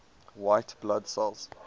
white blood cells